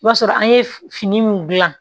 I b'a sɔrɔ an ye fini min dilan